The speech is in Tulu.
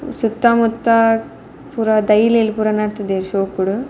ಸುತ್ತ ಮುತ್ತ ಪೂರ ದೈಲ್ ಲ್ ಪೂರ ನಡ್ತುದೆರ್ ಶೋಕುಡು.